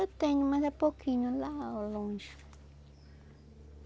Eu tenho, mas é pouquinho, lá longe.